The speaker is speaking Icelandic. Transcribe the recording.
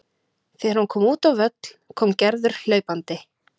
Þegar hann kom út á völl kom Gerður hlaupandi.